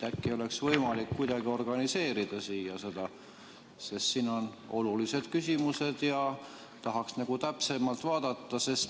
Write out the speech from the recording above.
Äkki oleks võimalik neid kuidagi siia juurde organiseerida, sest siin on olulised küsimused ja tahaks täpsemalt vaadata?